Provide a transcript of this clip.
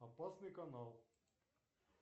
опасный канал